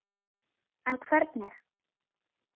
En hvernig?